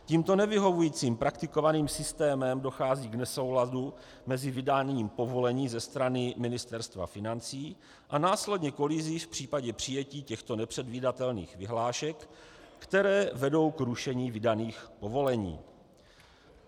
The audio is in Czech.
Tímto nevyhovujícím praktikovaným systémem dochází k nesouladu mezi vydáním povolení ze strany Ministerstva financí a následně kolizí v případě přijetí těchto nepředvidatelných vyhlášek, které vedou k rušení vydaných povolení.